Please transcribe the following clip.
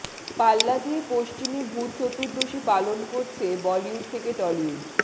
পাল্লা দিয়ে পশ্চিমী ভূত চতুর্দশী পালন করছে বলিউড থেকে টলিউড